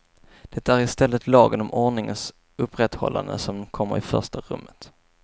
Det är i stället lagen om ordningens upprätthållande som kommer i första rummet.